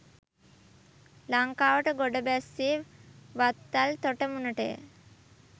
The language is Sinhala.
ලංකාවට ගොඩ බැස්සේ වත්තල් තොටමුණට ය.